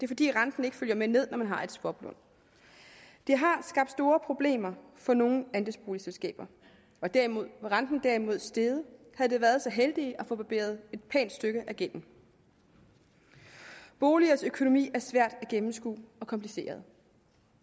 fordi renten ikke følger med ned når man har et swaplån det har skabt store problemer for nogle andelsboligselskaber var renten derimod steget havde de været så heldige at få barberet et pænt stykke af gælden boligers økonomi er svær at gennemskue og kompliceret